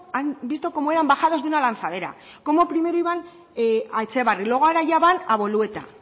han visto cómo eran bajados de una lanzadera cómo primero iban a etxebarri luego ahora ya van a bolueta